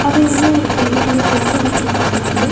அதையெல்லா ஒரு கைற்லா தொங்க விட்றுக்காங்க.